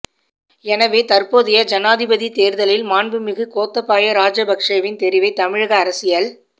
எனவே தற்போதைய ஜனாதிபதித் தேர்தலில் மாண்புமிகு கோத்தபாய ராஜபக்ஷவின் தெரிவை தமிழக அரசியல்